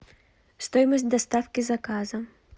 стоимость доставки заказа